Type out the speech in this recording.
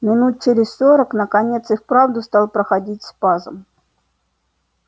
минут через сорок наконец и вправду стал проходить спазм